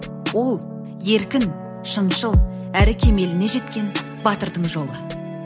ол еркін шыншыл әрі кемеліне жеткен батырдың жолы